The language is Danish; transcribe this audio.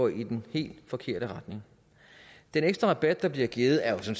i den helt forkerte retning den ekstra rabat der bliver givet er jo